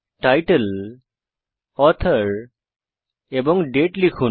title author এবং date লিখুন